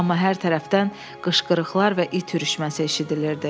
Amma hər tərəfdən qışqırıqlar və it ürüşməsi eşidilirdi.